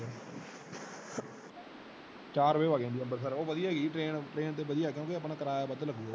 ਚਾਰ ਵੱਜੇ ਵਾਂਗ ਜਾਂਦੀ ਅੰਬਰਸਰ ਉਹ ਵੜਿਆ ਹੀ train train ਤੇ ਵਦੀਆ ਹੈ ਪਾਰ ਓਹਦੇ ਤੇ ਆਪਣਾ ਕਰਾਯਾ ਵੱਧ ਲੱਗੂਗਾ।